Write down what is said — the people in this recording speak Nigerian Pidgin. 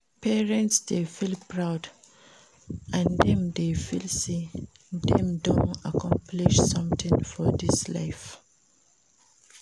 Parents de feel proud and dem de feel say dem don accomplish something for this life